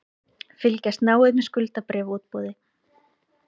Fylgjast náið með skuldabréfaútboði